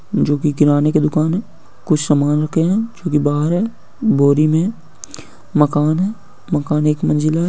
जो कि किराने के दुकान है कुछ समान रखे है जो कि बाहर है बोरी में मकान है मकान एक मंजिला है।